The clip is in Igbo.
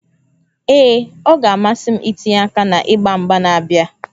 Ee, ọ ga-amasị m itinye aka na mgba mgba na-abịa